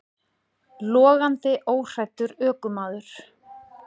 Logandi óhræddur ökumaður